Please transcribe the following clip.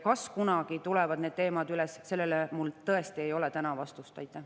Kas kunagi tulevad need teemad üles, sellele mul täna vastust tõesti ei ole.